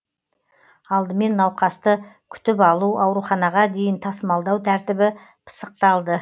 алдымен науқасты күтіп алу ауруханаға дейін тасымалдау тәртібі пысықталды